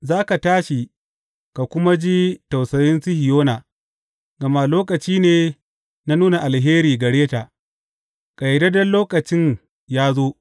Za ka tashi ka kuma ji tausayin Sihiyona, gama lokaci ne na nuna alheri gare ta; ƙayyadadden lokacin ya zo.